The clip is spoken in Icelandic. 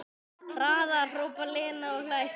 Hraðar, hrópar Lena og hlær.